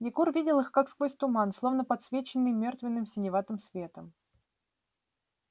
егор видел их как сквозь туман словно подсвеченный мёртвенным синеватым светом